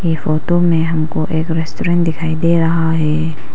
Photo में हमको एक रेस्टोरेंट दिखाई दे रहा है।